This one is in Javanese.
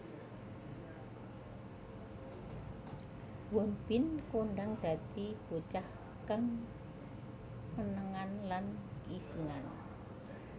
Won Bin kondhang dadi bocah kang menengan lan isinan